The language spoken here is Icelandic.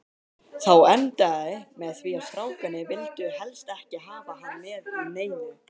Þá endaði með því að strákarnir vildu helst ekki hafa hann með í neinu.